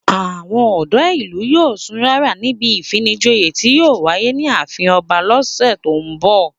Àwọn ọ̀dọ́ ìlú yóò sun rárà níbi ìfinijoyè tí yóò wáyé ní ààfin ọba lọ́sẹ̀ tó ń bọ̀